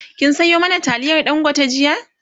kin Sayo mana taliyar dangote jiya?